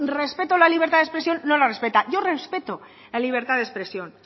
respeto la libertad de expresión no la respeta yo respeto la libertad de expresión